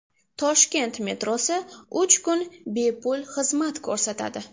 Toshkent metrosi uch kun bepul xizmat ko‘rsatadi.